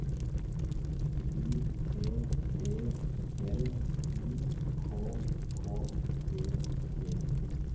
U T E L U K K E T